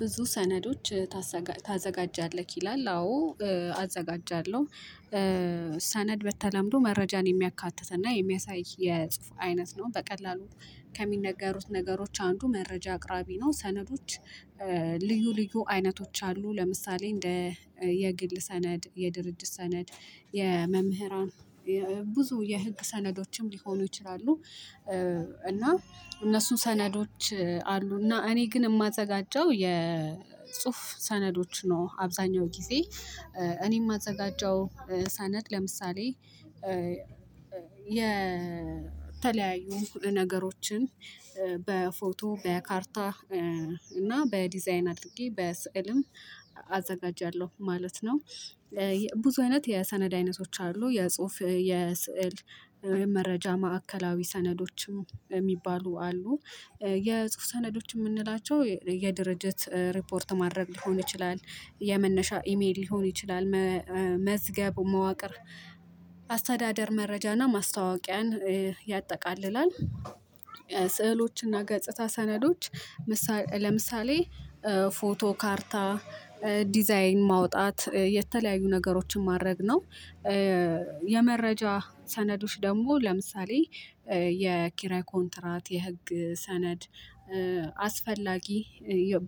ብዙ ሰነዶች ታዘጋጃለህ ይላል። አዎ አዘጋጃለሁ። ሰነድ በተለምዶ መረጃን የሚያካትትና የሚያሳይ የፁሁፍ አይነት ነው። በቀላሉ ከሚነገሩት ነገሮች አንዱ መረጃ አቅራቢ ነው። ሰነዶች ልዩ ልዩ አይነቶች አሉ። ለምሳሌ እንደ የግል ሰነድ የድርጅት ሰነድ የመምህራን ብዙ የህግ ሰነዶችም ሊሆኑ ይችላሉ። እና እነሱን ሰነዶች አሉ እና እኔ ግን የማዘጋጀው የፁሁፍ ሰነዶች ነው። አብዛኛው ጊዜ እኔም የማዘጋጀው ሰነድ ለምሳሌ የተለያዩ ነገሮችን በፎቶ በካርታ እና በዲዛይን አድርጌ በስዕልም አዘጋጃለሁ። ማለት ነው። ብዙ አይነት የሰነድ አይነቶች አሉ። የጽሁፍ የስዕል ወይም መረጃ ማዕከላዊ ሰነዶችም የሚባሉ አሉ። የጽሁፍ ሰነዶች የምንላቸው የድርጅት ሪፖርት ማድረግ ሊሆን ይችላል የመነሻ ኢሜል ሊሆን ይችላል። መዝገብ መዋቅር አስተዳደር መረጃና ማስታወቂያን ያጠቃልላል። ስዕሎችና ገጽታ ሰነዶች። ለምሳሌ ፎቶ ካርታ ዲዛይን ማውጣት የተለያዩ ነገሮችን ማድረግ ነው። የመረጃ ሰነዶች ደግሞ ለምሳሌ የኪራይ ኮንትራት የህግ ሰነድ። አስፈላጊ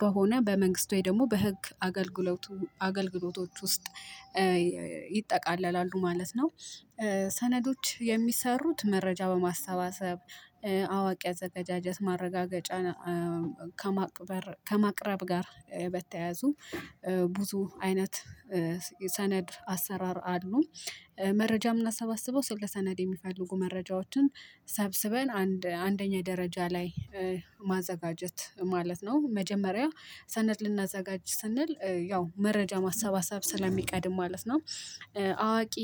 በሆነ በመንግስት ወይ ደግሞ በህግ አገልግሎቱ አገልግሎቶች ውስጥ ይጠቃለላሉ ማለት ነው። ሰነዶች የሚሰሩት መረጃ በማሰባሰብ አዋቂ አዘጋጀት ማረጋገጫ ከማቅረብ ከማቅረብ ጋር በተያዙ ብዙ አይነት የሰነድ አሰራር አሉ። መረጃ ምናሰባስበው ስለ ሰነድ የሚፈልጉ መረጃዎችን ሰብስበን አንደኛ ደረጃ ላይ ማዘጋጀት ማለት ነው። መጀመሪያ ሰነድ ልናዘጋጅ ስንል ያው መረጃ ማሰባሰብ ስለሚቀድም ማለት ነው። አዋቂ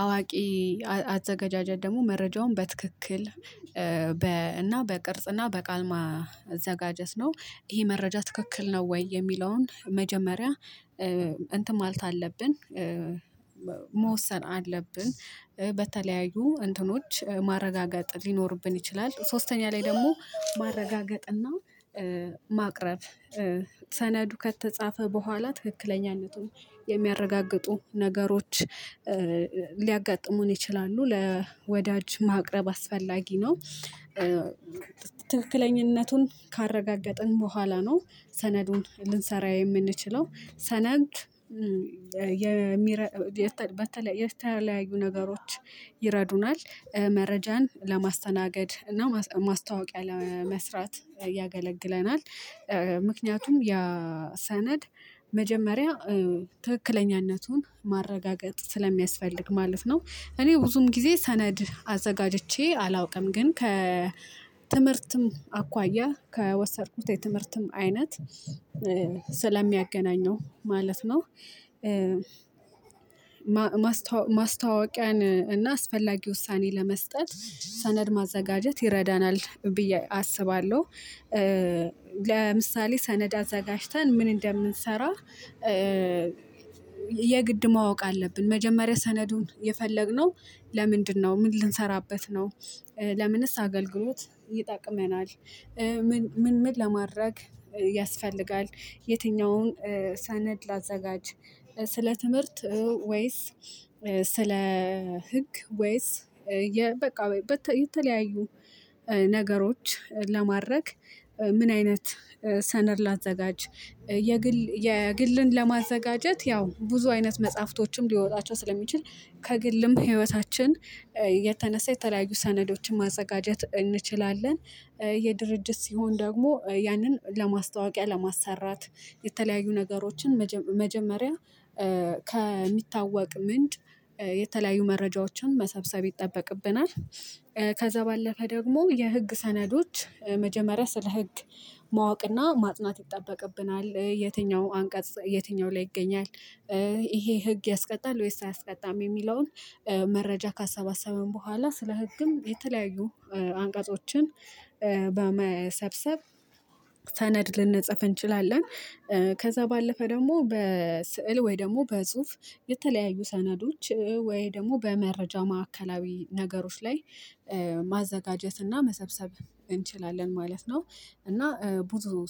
አዋቂ አዘጋጃጃት ደግሞ መረጃውን በትክክል በ እና በቅርጽ እና በቃል ማዘጋጀት ነው። ይሄ መረጃ ትክክል ነው ወይ? የሚለውን መጀመሪያ እንትን ማለት አለብን መወሰን አለብን። በተለያዩ እንትኖች ማረጋገጥ ሊኖርብን ይችላል። ሶስተኛ ላይ ደግሞ ማረጋገጥና ማቅረብ ሰነዱ ከተጻፈ በኋላ ትክክለኛነቱን የሚያረጋግጡ ነገሮች ሊያጋጥሙን ይችላሉ። ለወዳጅ ማቅረብ አስፈላጊ ነው። ትክክለኛነቱን ካረጋገጥን በኋላ ነው። ሰነዱን ልንሰራ የምንችለው። ሰነድ የሚረ በተለይ የተለያዩ ነገሮች ይረዱናል መረጃን ለማስተናገድ እና ማስታወቂያ ለመስራት ያገለግለናል። ምክንያቱም ያ ሰነድ መጀመሪያ ትክክለኛነቱን ማረጋገጥ ስለሚያስፈልግ ማለት ነው። እኔ ብዙም ጊዜ ሰነድ አዘጋጅቼ አላውቅም። ግን ከ ትምህርትም አኳያ ከወሰድኩት የትምህርትም አይነት ስለሚያገናኘው ማለት ነው። ማስታወቂያን እና አስፈላጊ ውሳኔ ለመስጠት ሰነድ ማዘጋጀት ይረዳናል ብዬ አስባለሁ። ለምሳሌ ሰነድ አዘጋጅተን ምን እንደምንሰራ? የግድ ማወቅ አለብን። መጀመሪያ ሰነዱን የፈለግነው ለምንድነው ምን ልንሰራበት ነው? ለምንስ አገልግሎት ይጠቅመናል? ምን ምን ለማድረግ ያስፈልጋል? የትኛውን ሰነድ ላዘጋጅ? ስለ ትምህርት ወይስ? ስለ ህግ ወይስ? በቃ የተለያዩ ነገሮች ለማድረግ ምን አይነት ሰነድ ላዘጋጅ የግል የግልን ለማዘጋጀት ያው ብዙ አይነት መጽሐፍቶችም ሊወጣቸው ስለሚችል ከግልም ህይወታችን የተነሳ የተለያዩ ሰነዶችን ማዘጋጀት እንችላለን። የድርጅት ሲሆን ደግሞ ያንን ለማስታወቂያ ለማሰራት የተለያዩ ነገሮችን መጀመሪያ ከሚታወቅ ምንድ የተለያዩ መረጃዎችን መሰብሰብ ይጠበቅብናል። ከዛ ባለፈ ደግሞ የህግ ሰነዶች መጀመሪያ ስለ ህግ ማወቅና ማጥናት ይጠበቅብናል። የትኛው አንቀጽፅ የትኛው ላይ ይገኛል? ይሄ ህግ ያስቀጣል ወይስ አያስቀጣም? የሚለውን መረጃ ካሰባሰበን በኋላ ስለ ህግም የተለያዩ አንቀፆችን በመሰብሰብ ሰነድ ልንጽፍ እንችላለን። ከዛ ባለፈ ደግሞ በስዕል ወይ ደግሞ በፁሁፍ የተለያዩ ሰነዶች ወይ ደግሞ በመረጃ ማዕከላዊ ነገሮች ላይ ማዘጋጀት እና መሰብሰብ እንችላለን ማለት ነው። እና ብዙ